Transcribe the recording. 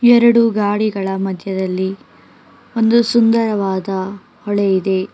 ಎರಡು ಗಾಡಿಗಳ ಮಧ್ಯದಲ್ಲಿ ಒಂದು ಸುಂದರವಾದ ಹೊಳೆ ಇದೆ ಆ--